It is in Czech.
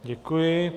Děkuji.